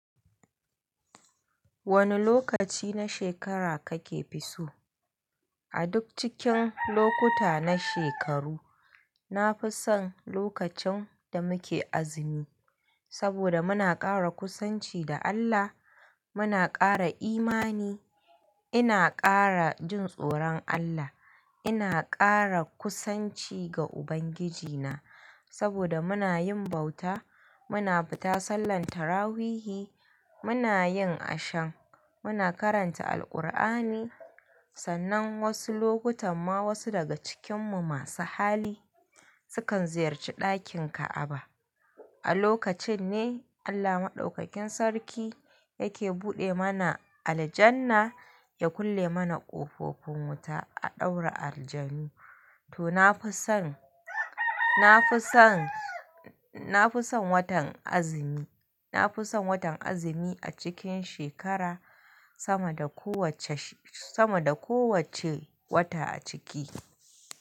Wane lokaci na shekara kake fi so? A duk cikin lokuta na shekaru, nafi son lokacin da muke azumi. Saboda muna kara kusanci da Allah, muna kara imani, ina kara jin tsoron Allah, ina kara kusanci ga Ubangiji na. Saboda muna yin bauta, muna fita sallantarrawuhi, muna yin ashan, muna karanta Alkur'ani. Sannan wasu lokutan ma wasu daga cikin mu masu hali sukan ziyarci ɗakin ka'aba. A lokacin ne Allah Maɗaukakin Sarki yake buɗe mana aljanna ya kulle mana ƙofofin wuta a ɗaura aljanu. To, nafi son, nafi son, nafi son watan azumi. Nafison watan azumi a cikin shekara sama da kowacce, sama da kowacce wata a ciki.